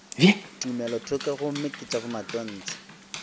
tumelothoko gomme ke tša bomatontshe